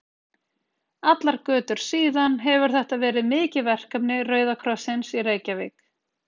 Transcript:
Allar götur síðan hefur þetta verið mikið verkefni Rauða krossins í Reykjavík.